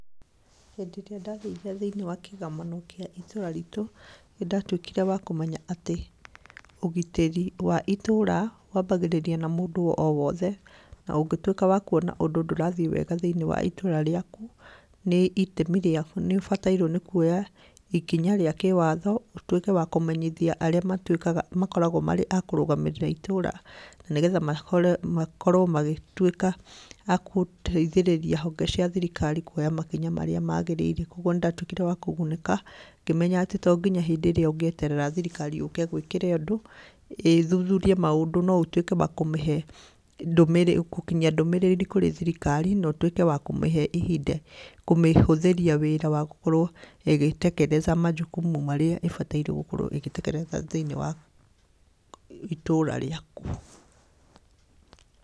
Hĩndĩ ĩrĩa ndathire thĩiniĩ wa kĩgomano kĩa itũra ritũ, nĩndatuĩkire wa kũmenya atĩ ũgitĩri wa itũra wambagĩrĩria na mũndũ o wothe na ũngĩtuĩka wa kuona ũndũ ndũrathiĩ wega thĩiniĩ wa itũra rĩaku nĩ itemi rĩaku nĩ ũbatairwo nĩ kuoya ikinya rĩa kĩwatho ũtuĩke wa kũmenyithia arĩa matuĩkaga makoragwo marĩ a kũrũgamĩrĩra itũra na nĩgetha mahore makorwo magĩtuĩka akũteithĩrĩria honge cia thirikari kuoya makinya marĩa magĩrĩire, kuoguo nĩndatuĩkire wa kũgunĩka ngĩmenya atĩ to nginya hĩndĩ ĩrĩa ũngĩeterera thirikari yũke ĩgwĩkĩre ũndũ, ĩthuhurie maũndũ no ũtuĩke wa kũmĩhe ndũmĩrĩri gũkinyia ndũmĩrĩri kũrĩ thirikari na ũtuĩke wa kũmĩhe ihinda kũmĩhũthĩria wĩra wa gũkorwo ĩgĩ tekeleza majukumu marĩa ĩbataire gũkorwo ĩgĩ tekeleza thĩiniĩ wa itũra rĩaku.